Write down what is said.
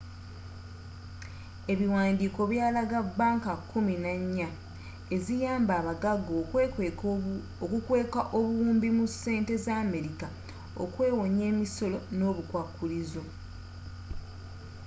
ebiwandiiko byalaga banka kkumi nannya eziyamba abaggaga okukweka obuwumbi mu sente za america okwewonya emisolo ne obukwakulizo